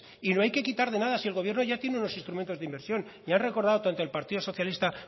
y no hay que quitar de nada si el gobierno ya tiene unos instrumentos de inversión lo han recordado tanto el partido socialista